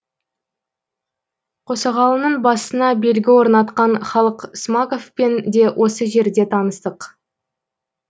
қосағалының басына белгі орнатқан халық смақовпен де осы жерде таныстық